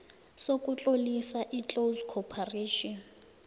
sokutlolisa iclose corporation